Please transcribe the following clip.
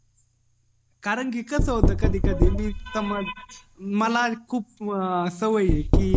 करणं कि कसं होत कधी कधी मी समज मला खूप सवय ये कि